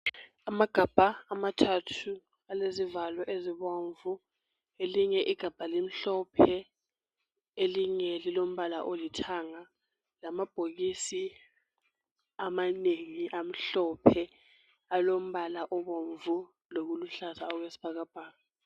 Amagabha amathathu alezivalo ezibomvu elinye igabha limhlophe elinye lilombala olithanga lamabhoki amanengi amhlophe alombala obomvu lokuluhlaza okwesibhakabhaka.